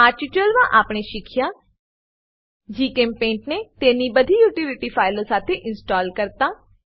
આ ટ્યુટોરીયલ માં આપણે શીખ્યા જીચેમ્પેઇન્ટ ને તેની બધી યુટીલીટી ફાઈલો સાથે ઇન્સ્ટોલ કરતા